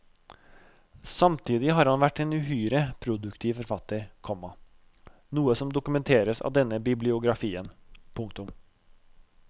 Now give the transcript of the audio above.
Samtidig har han vært en uhyre produktiv forfatter, komma noe som dokumenteres av denne bibliografien. punktum